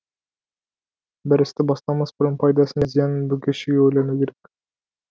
бір істі бастамас бұрын пайдасын да зиянын бүге шүге ойлану керек